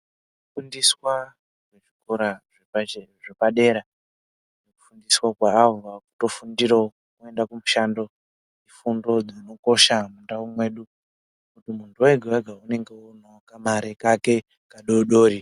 Vanofundiswa kurapa zvirwere zvepadera navo havo vanotofundirawo kuenda kumushando zviro zvinokosha mundau mwedu ngekuti munhu wega wega wakutoonawo kamare kake kadodori.